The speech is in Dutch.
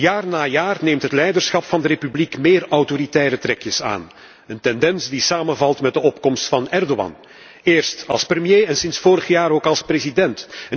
Jaar na jaar neemt het leiderschap van de republiek meer autoritaire trekjes aan, een tendens die samenvalt met de opkomst van Erdoğan, eerst als premier en sinds vorig jaar ook als president.